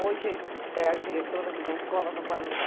Hoje é a diretora de uma escola no Guarujá.